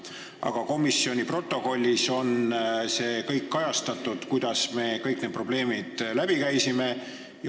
Aga komisjoni protokollis on see kõik kajastatud, kuidas me kõik need probleemid läbi käisime.